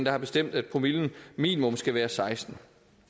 har bestemt at promillen minimum skal være sekstende